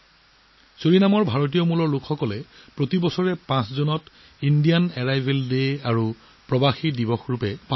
ছুৰিনামত ভাৰতীয় সম্প্ৰদায়ে প্ৰতি বছৰে ভাৰতীয় আগমন দিৱস আৰু প্ৰব্ৰজনকাৰী দিৱস হিচাপে উদযাপন কৰে